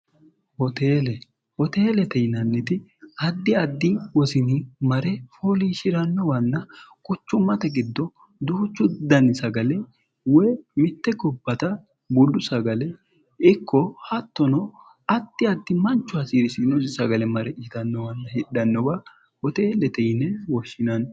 hoteelehoteelete yinanniti addi addi wosini mare fooliishi'rannowanna quchummate giddo duhuchu danni sagale woy mitte gobbata buddu sagale ikko hattono atti addi manchu hasiirisiinosi sagale mare yitannowanna hidhannowa hoteellete yine woshshinanno